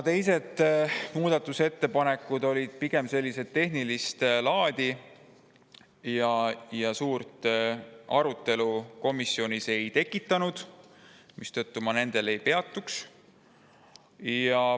Teised muudatusettepanekud olid pigem tehnilist laadi ja komisjonis suurt arutelu ei tekitanud, mistõttu ma nendel ei peatuks.